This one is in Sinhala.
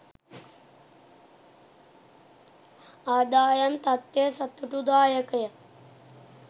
ආදායම් තත්ත්වය සතුටුදායකය